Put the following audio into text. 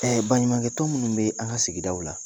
Baɲumakɛ tɔn munnu bɛ an ka sigidaw la